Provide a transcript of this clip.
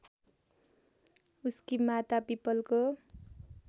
उसकी माता पीपलको